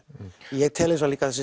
ég tel líka að þessi